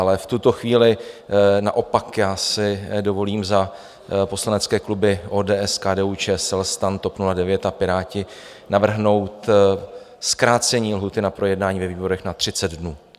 Ale v tuto chvíli naopak já si dovolím za poslanecké kluby ODS, KDU-ČSL, STAN, TOP 09 a Piráti navrhnout zkrácení lhůty na projednání ve výborech na 30 dnů.